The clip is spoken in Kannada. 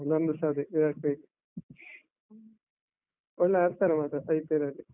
ನಂದುಸ ಅದೇ, ವಿರಾಟ್ ಕೊಹ್ಲಿ, ಒಳ್ಳೆ ಆಡ್ತಾರೆ ಮಾತ್ರ IPL ಅಲ್ಲಿ.